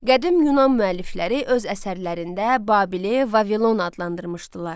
Qədim Yunan müəllifləri öz əsərlərində Babili Vavilon adlandırmışdılar.